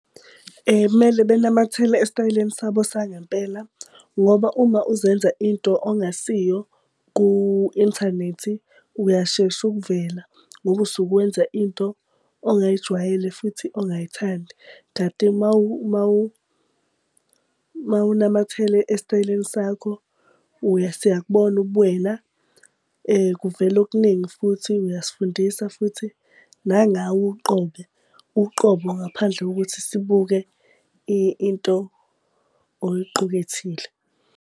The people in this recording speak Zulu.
Kumele benamathele esitayeleni sabo sangempela ngoba uma uzenza into ongasiyo ku-inthanethi uyashesha ukuvela ngoba usuke wenza into ongayijwayele futhi ongayithandi. Kanti uma unamathela esitayeleni sakho siyakubona ubuwena. Kuvela okuningi futhi iyasifundisa futhi nangawe uqobe uqobo ngaphandle kokuthi sibuke into oyiqukethile.